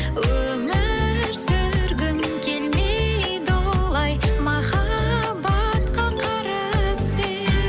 өмір сүргім келмейді олай махаббатқа қарызбен